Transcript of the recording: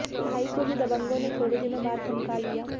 भाई को भी दबंगों ने थोड़े दिनों बाद धमका लिया